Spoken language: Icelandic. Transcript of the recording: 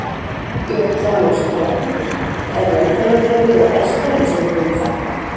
Björn Þorláksson, fréttamaður: Er velferðarkerfið að bresta eins og við höfum þekkt það?